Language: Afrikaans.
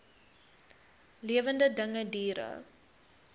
lewende dinge diere